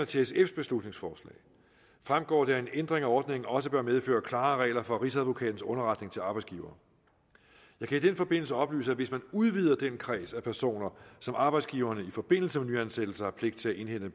til sfs beslutningsforslag fremgår det at en ændring af ordningen også bør medføre klare regler for rigsadvokatens underretning til arbejdsgiver jeg kan i den forbindelse oplyse at hvis man udvider den kreds af personer som arbejdsgiverne i forbindelse med nyansættelser har pligt til at indhente